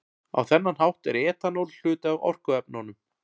Á þennan hátt er etanól hluti af orkuefnunum.